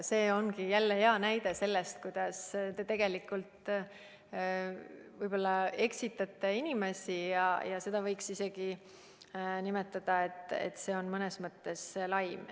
See ongi jälle hea näide sellest, kuidas te tegelikult eksitate inimesi, ja seda võiks isegi nimetada nii, et see on mõnes mõttes laim.